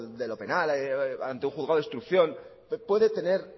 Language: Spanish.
de lo penal ante un juzgado de instrucción puede tener